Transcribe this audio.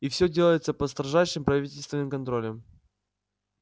и всё делается под строжайшим правительственным контролем